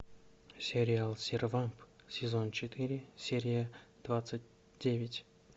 сериал сервамп сезон четыре серия двадцать девять